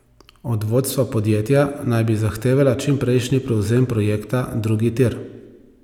Od vodstva podjetja naj bi zahtevala čimprejšnji prevzem projekta drugi tir.